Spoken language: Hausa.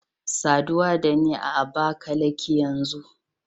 Saduwa da ni a Abakalaki yanzu